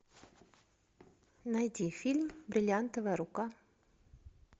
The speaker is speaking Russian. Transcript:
найди фильм бриллиантовая рука